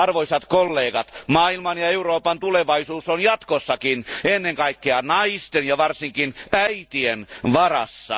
Arvoisat kollegat, maailman ja Euroopan tulevaisuus on jatkossakin ennen kaikkea naisten ja varsinkin äitien varassa.